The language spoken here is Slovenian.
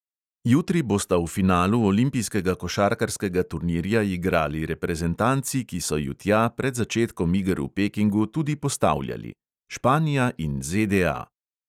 Jutri bosta v finalu olimpijskega košarkarskega turnirja igrali reprezentanci, ki so ju tja pred začetkom iger v pekingu tudi postavljali: španija in ZDA.